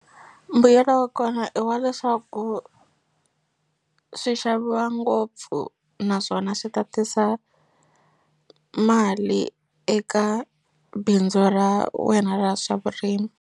Mbuyelo wa kona i wa leswaku swi xaviwa ngopfu naswona swi ta tisa mali eka bindzu ra wena ra swa vurimi.